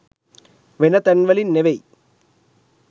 වෙන තැන්වලින් නෙවෙයි